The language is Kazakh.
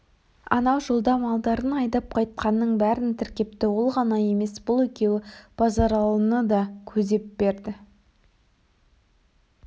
анау жолда малдарын айдап қайтқанның бәрін тіркепті ол ғана емес бұл екеуі базаралыны да көзеп берді